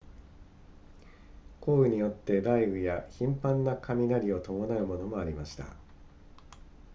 降雨によっては雷雨や頻繁な雷を伴うものもありました